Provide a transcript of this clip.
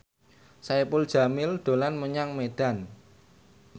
Saipul Jamil dolan menyang Medan